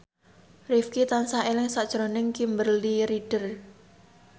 Rifqi tansah eling sakjroning Kimberly Ryder